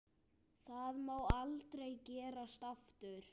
Það má aldrei gerast aftur.